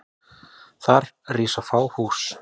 Þar rísa fá hús.